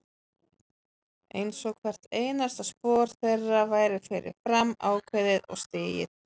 Einsog hvert einasta spor þeirra væri fyrir fram ákveðið og stigið.